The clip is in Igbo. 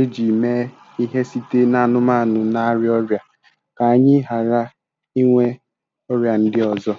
e ji mee ihe site n'anụmanụ na-arịa ọrịa ka anyị ghara inwe ọrịa ndị ọzọ.